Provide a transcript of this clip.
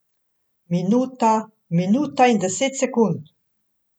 Minuta, minuta in deset sekund ...